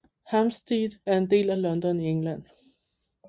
Hampstead er en del af London i England